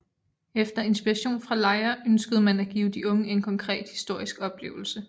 Efter inspiration fra Lejre ønskede man at give de unge en konkret historisk oplevelse